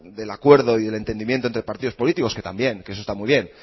del acuerdo y del entendimiento entre partidos políticos que también que eso está muy bien